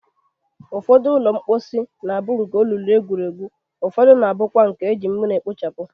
Ụfọdụ ụlọ mkposi na-abụ nke olulu egwuru egwu, ufọdụ na-abụkwa nke e ji mmiri ekpochapụ.